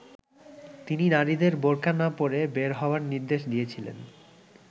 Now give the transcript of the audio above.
তিনি নারীদের বোরকা না পরে বের হওয়ার নির্দেশ দিয়েছিলেন।